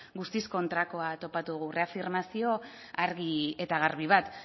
guztiz kontrakoa topatu dugu reafirmazio argi eta garbi bat